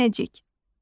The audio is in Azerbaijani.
Səhnəcik.